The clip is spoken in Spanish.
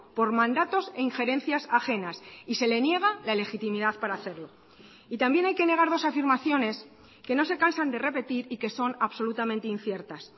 por mandatos e injerencias ajenas y se le niega la legitimidad para hacerlo y también hay que negar dos afirmaciones que no se cansan de repetir y que son absolutamente inciertas